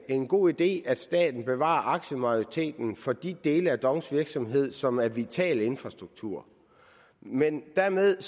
en god idé at staten bevarer aktiemajoriteten for de dele af dongs virksomhed som er vitale infrastrukturer men dermed